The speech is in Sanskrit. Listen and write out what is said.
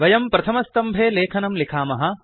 वयं प्रथमस्तम्भे लेखनं लिखामः